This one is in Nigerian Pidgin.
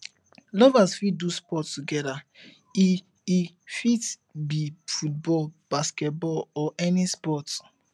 lovers fit do sport together e e fit be football basketball or any sport